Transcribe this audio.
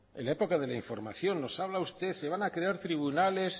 en la época de la información nos habla usted se van a crear tribunales